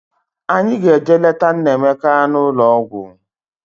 Anyị ga-eje leta Nnaemeka n'ụlọ ọgwụ